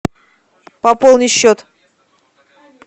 пополни счет